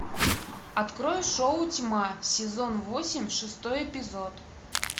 открой шоу тьма сезон восемь шестой эпизод